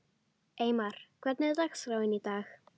Eymar, hvernig er dagskráin í dag?